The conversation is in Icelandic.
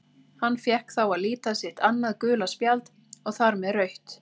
Hann fékk þá að líta sitt annað gula spjald og þar með rautt.